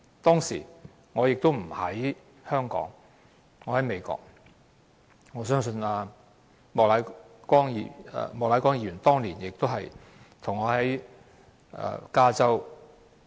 當時，我不在香港，我在美國，相信莫乃光議員當年和我一樣，都在加州。